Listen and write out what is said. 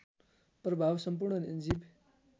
प्रभाव सम्पूर्ण जीव